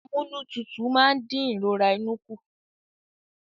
Amúnútutù máa ń dín ìrora inú kù